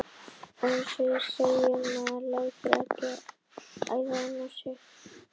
Eins og ég segi. maður lætur ekki æða inn á sig!